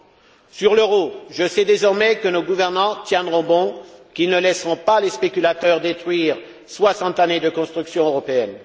Concernant l'euro, je sais désormais que nos gouvernants tiendront bon et qu'ils ne laisseront pas les spéculateurs détruire soixante années de construction européenne.